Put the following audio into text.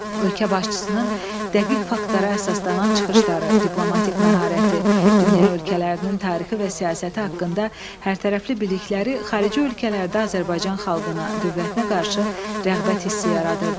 Ölkə başçısının dəqiq faktlara əsaslanan çıxışları, diplomatik məharəti, dünya ölkələrinin tarixi və siyasəti haqqında hərtərəfli bilikləri xarici ölkələrdə Azərbaycan xalqına, dövlətinə qarşı rəğbət hissi yaradırdı.